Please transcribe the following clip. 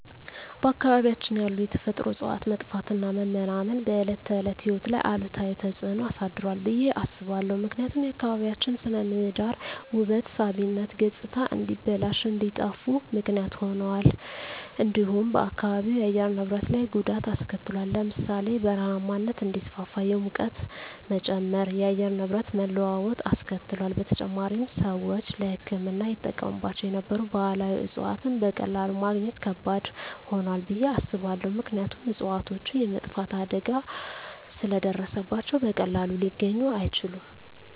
በአካባቢያችን ያሉ የተፈጥሮ እፅዋት መጥፋትና መመናመን በዕለት ተዕለት ሕይወት ላይ አሉታዊ ተጽዕኖ አሳድሯል ብየ አስባለሁ። ምክንያቱም የአካባቢያችን ስነ ምህዳር ውበት ሳቢነት ገፅታ እንዲበላሽ እንዲጠፋ ምክንያት ሁኗል። እንዲሁም በአካባቢው የአየር ንብረት ላይ ጉዳት አሰከትሏል ለምሳሌ ( በረሃማነት እንዲስፋፋ፣ የሙቀት መጨመር፣ የአየር ንብረት መለዋወጥ አስከትሏል። በተጨማሪም፣ ሰዎች ለሕክምና ይጠቀሙባቸው የነበሩ ባህላዊ እፅዋትን በቀላሉ ማግኘት ከባድ ሆኗል ብየ አስባለሁ። ምክንያቱም እፅዋቶቹ የመጥፋት አደጋ ስለ ደረሰባቸው በቀላሉ ሊገኙ አይችሉም።